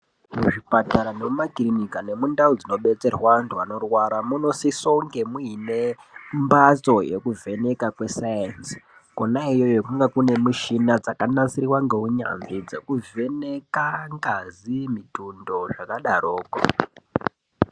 Muzvipatara nemumakirinika nemundau dzinobetserwa anthu anorwara munosiso kunge muine mphatso yekuvheneka kwesainzi, kona iyoyo kunonga kune mishina yakagadzirwa ngeunyanzvi yekuvheneka ngazi, mitundo zvakadaroko.